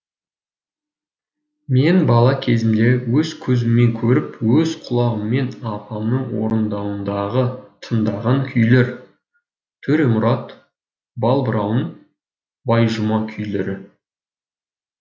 мен бала кезімде өз көзіммен көріп өз құлағыммен апамның орындауындағы тыңдаған күйлер төремұрат балбырауын байжұма күйлері